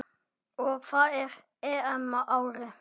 Og það á EM-ári.